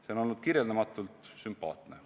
See on kirjeldamatult sümpaatne.